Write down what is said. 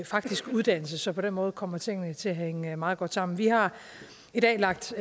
faktisk uddannelse så på den måde kommer tingene til at hænge meget godt sammen vi har i dag lagt